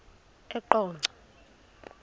eqonco